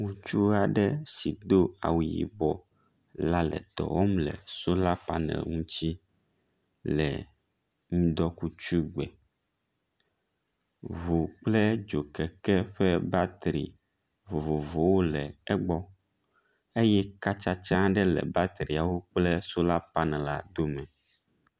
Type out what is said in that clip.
Ŋutsu aɖe si do awu yibɔ la le dɔ wɔm le solar panel aŋuti le ŋdɔkutsu gbe, ŋu kple dzokeke battery vovovowo le egbɔ eye ka tsiãtsiã aɖe le batteriawo kple solar panel la dome.